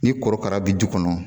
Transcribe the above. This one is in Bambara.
Ni korokara bi du kɔnɔ